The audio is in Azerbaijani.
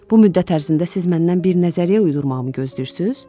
Bu müddət ərzində siz məndən bir nəzəriyyə uydurmağımı gözləyirsiniz?